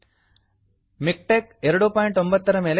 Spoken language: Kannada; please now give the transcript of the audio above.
ಮಿಕ್ಟೆಕ್ಸ್ ಮಿಕ್ಟೆಕ್ 29 ನ ಮೇಲೆ ಕ್ಲಿಕ್ ಮಾಡಿ